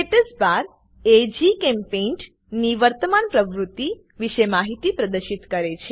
status bar એ GChemPaint ની વર્તમાન પ્રવૃત્તિ વિશે માહિતી પ્રદર્શિત કરે છે